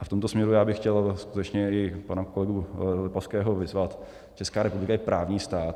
A v tomto směru já bych chtěl skutečně i pana kolegu Lipavského vyzvat - Česká republika je právní stát.